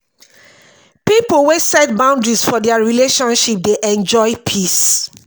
pipo we set boundaries for their relationship dey enjoy peace.